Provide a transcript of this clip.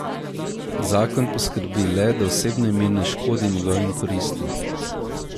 Zakon poskrbi le, da osebno ime ne škodi njegovim koristim.